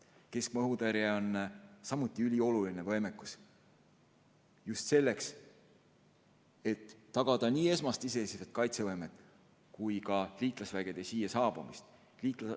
Keskmaa õhutõrje on samuti ülioluline võimekus, just selleks, et tagada nii esmane iseseisev kaitsevõime kui ka liitlasvägede siia saabumine.